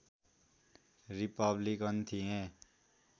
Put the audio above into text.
Republican थिए